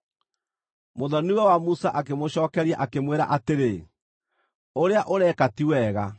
Mũthoni-we wa Musa akĩmũcookeria, akĩmwĩra atĩrĩ, “Ũrĩa ũreka ti wega.